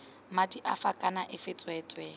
madi afe kana afe tsweetswee